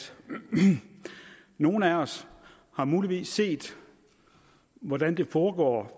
nogle af os muligvis har set hvordan det foregår